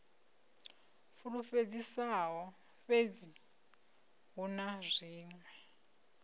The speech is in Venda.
fulufhedzisaho fhedzi hu na zwiṅwe